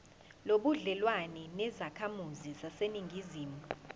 nobudlelwane nezakhamizi zaseningizimu